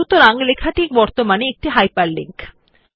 সুতরাং লেখাটি বর্তমানে একটি হাইপারলিংক